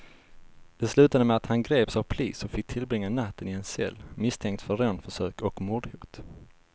Det slutade med att han greps av polis och fick tillbringa natten i en cell, misstänkt för rånförsök och mordhot.